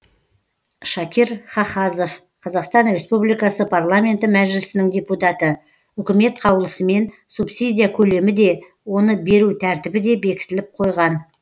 шакир хахазов қазақстан республикасы парламенті мәжілісінің депутаты үкімет қаулысымен субсидия көлемі де оны беру тәртібі де бекітіліп қойған